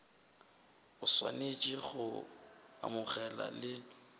o swanetše go amogela le